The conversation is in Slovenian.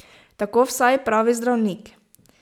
Tako vsaj pravi zdravnik.